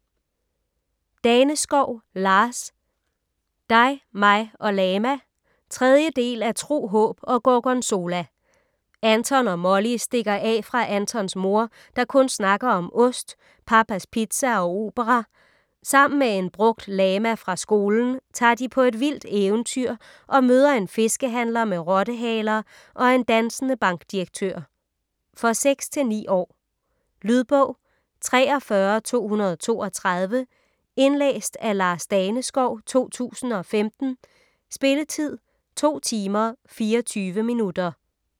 Daneskov, Lars: Dig, mig og lama 3. del af Tro, håb og gorgonzola. Anton og Molly stikker af fra Antons mor, der kun snakker om ost, Pappas Pizza og opera. Sammen med en brugt lama fra skolen tager de på et vildt eventyr og møder en fiskehandler med rottehaler og en dansende bankdirektør. For 6-9 år. Lydbog 43232 Indlæst af Lars Daneskov, 2015. Spilletid: 2 timer, 24 minutter.